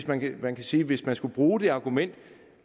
man kan man kan sige at hvis man skulle bruge det argument